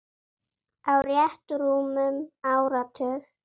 Á rétt rúmum áratug.